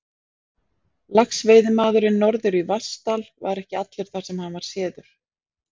Laxveiðimaðurinn norður í Vatnsdal var ekki allur þar, sem hann var séður.